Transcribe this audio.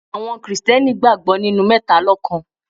Àwọn Kristẹni gbàgbọ́ nínú mẹ́talọ́kan.